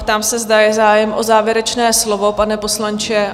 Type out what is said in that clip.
Ptám se, zda je zájem o závěrečné slovo, pane poslanče?